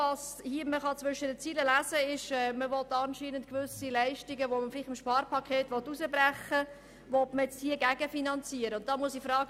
Man kann zwischen den Zeilen lesen, dass man gewisse Leistungen gegenfinanzieren will, die man vielleicht aus dem Sparpaket herausbrechen möchte.